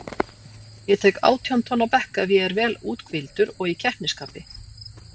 Ég tek átján tonn á bekk ef ég er vel úthvíldur og í keppnisskapi.